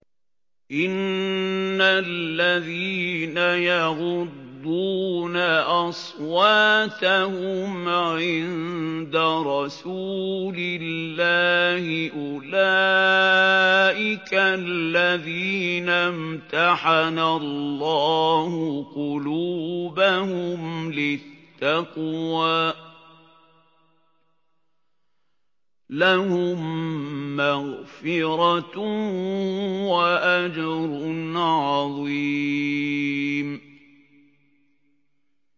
إِنَّ الَّذِينَ يَغُضُّونَ أَصْوَاتَهُمْ عِندَ رَسُولِ اللَّهِ أُولَٰئِكَ الَّذِينَ امْتَحَنَ اللَّهُ قُلُوبَهُمْ لِلتَّقْوَىٰ ۚ لَهُم مَّغْفِرَةٌ وَأَجْرٌ عَظِيمٌ